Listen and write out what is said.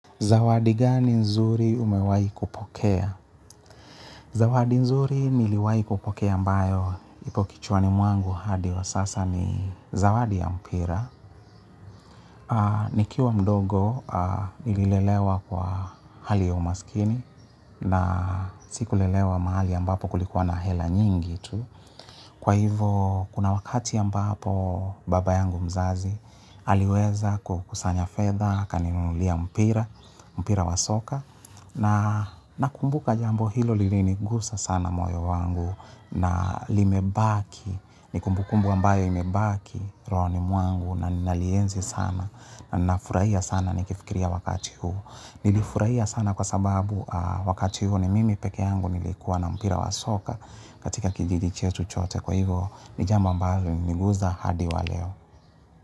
Zawadi gani nzuri umewahi kupokea? Zawadi nzuri niliwahi kupokea ambayo ipo kichwani mwangu hadi wa sasa ni zawadi ya mpira. Nikiwa mdogo nililelewa kwa hali ya umaskini na siku lelewa mahali ambapo kulikuwa na hela nyingi tu. Kwa hivyo kuna wakati ambapo baba yangu mzazi aliweza kukusanya fedha akaninunulia mpira mpira wa soka na nakumbuka jambo hilo lilinigusa sana moyo wangu na limebaki, ni kumbukumbu ambayo imebaki rohoni mwangu na ninalienzi sana na nafurahia sana nikifikiria wakati huu. Nilifurahia sana kwa sababu wakati huu ni mimi peke yangu nilikuwa na mpira wa soka katika kijiji chetu chote kwa hivo ni jambo ambalo lilininguza hadi wa leo.